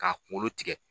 K'a kunkolo tigɛ